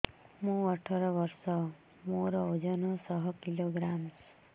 ମୁଁ ଅଠର ବର୍ଷ ମୋର ଓଜନ ଶହ କିଲୋଗ୍ରାମସ